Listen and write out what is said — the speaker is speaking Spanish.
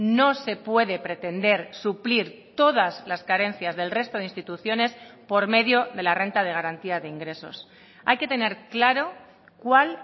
no se puede pretender suplir todas las carencias del resto de instituciones por medio de la renta de garantía de ingresos hay que tener claro cuál